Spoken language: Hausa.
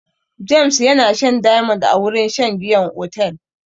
James yana shan diamond a wurin shan giyan otel.